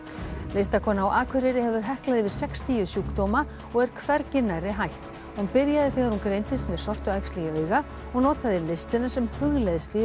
listakona á Akureyri hefur heklað yfir sextíu sjúkdóma og er hvergi nærri hætt hún byrjaði þegar hún greindist með sortuæxli í auga og notaði listina sem hugleiðslu í